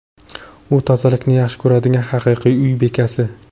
U tozalikni yaxshi ko‘radigan haqiqiy uy bekasi.